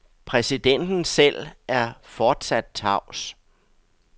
Præsidenten selv er fortsat tavs.